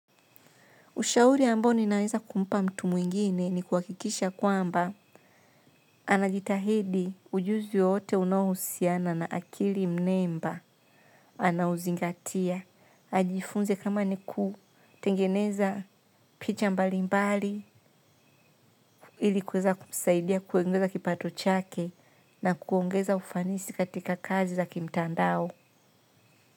Ushauri ambao ninaweza kumpa mtu mwingine ni kuhakikisha kwamba anajitahidi ujuzi wote unao husiana na akili mnemba. Anaozingatia. Ajifunze kama ni ku tengeneza picha mbali mbali ilikuweza kumsaidia kuongeza kipato chake na kuongeza ufanisi katika kazi za kimtandao.